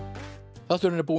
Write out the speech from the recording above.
þátturinn er búinn